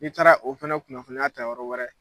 N'i taara o fana kunnafoniya ta yɔrɔ wɛrɛ